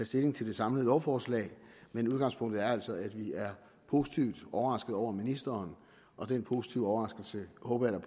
stilling til det samlede lovforslag men udgangspunktet er altså at vi er positivt overraskede over ministeren og den positive overraskelse håber jeg